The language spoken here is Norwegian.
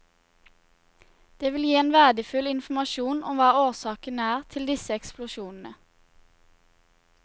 Det vil gi verdifull informasjon om hva årsaken er til disse eksplosjonene.